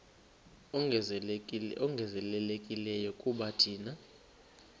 ongezelelekileyo kuba thina